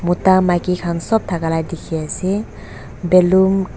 mota maiki khan sop thakala dikhi ase balloon --